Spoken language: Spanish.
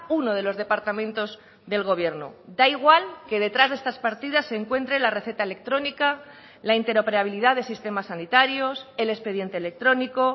uno de los departamentos del gobierno da igual que detrás de estas partidas se encuentre la receta electrónica la interoperabilidad de sistemas sanitarios el expediente electrónico